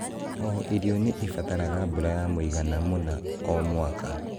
o irio nĩ ĩbataraga mbura ya mũigana mũna o mwaka.